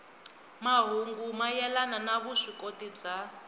mahungu mayelana ni vuswikoti bya